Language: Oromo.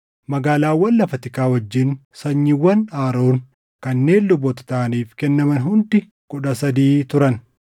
Magaalaawwan lafa tikaa wajjin sanyiiwwan Aroon kanneen luboota taʼaniif kennaman hundi kudha sadii turan.